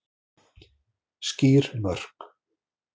Skýr mörk